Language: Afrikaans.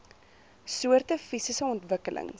soorte fisiese ontwikkelings